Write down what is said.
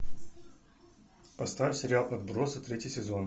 поставь сериал отбросы третий сезон